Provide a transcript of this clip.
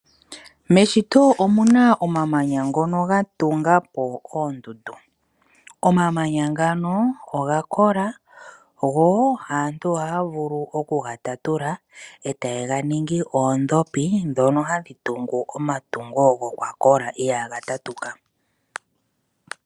Meshito omuna omamanya ngono ga tanga po oondundu. Omamanya ngano oga kola go aantu ohaya vulu okuga tatula ete yega ningi oodhopi dhono hadhi tungu omatungo gokwakola iyaga tatuka.